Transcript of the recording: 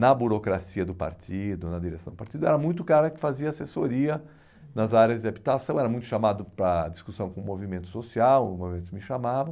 na burocracia do partido, na direção do partido, era muito o cara que fazia assessoria nas áreas de habitação, era muito chamado para discussão com o movimento social, o movimento me chamava.